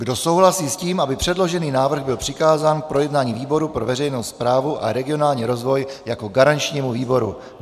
Kdo souhlasí s tím, aby předložený návrh byl přikázán k projednání výboru pro veřejnou správu a regionální rozvoj jako garančnímu výboru?